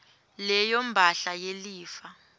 leyo mphahla yelifa